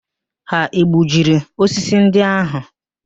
Ha egbujiri osisi ndị ahụ?